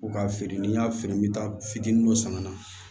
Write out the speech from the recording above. Ko k'a feere ni n y'a feere n bɛ taa fitini dɔ san ka na